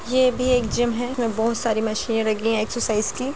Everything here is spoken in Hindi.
यह भी एक जिम हैं इसमें बहुत सारी मशीनें लगी हैं एक्सरसाइज की --